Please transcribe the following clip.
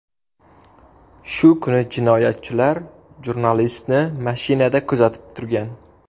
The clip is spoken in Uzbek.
Shu kuni jinoyatchilar jurnalistni mashinada kuzatib turgan.